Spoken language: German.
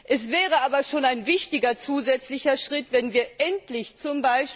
Es wäre aber schon ein wichtiger zusätzlicher Schritt, wenn wir endlich z.